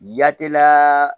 Yatimaa